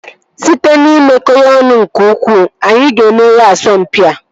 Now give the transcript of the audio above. Site n'imekọ ya ọnụ nke ukwuu, anyị ga-emeri asọmpi a